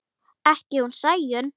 Ekki hún Sæunn.